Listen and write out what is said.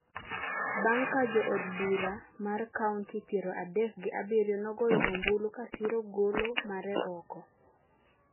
bang’ ka jo od bura mar kaonti piero adek gi abiriyo nogoyo ombulu ka siro golo mare oko,